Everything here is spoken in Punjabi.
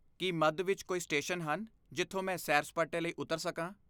ਕੀ ਮੱਧ ਵਿੱਚ ਕੋਈ ਸਟੇਸ਼ਨ ਹਨ ਜਿੱਥੋਂ ਮੈਂ ਸੈਰ ਸਪਾਟੇ ਲਈ ਉਤਰ ਸਕਾਂ?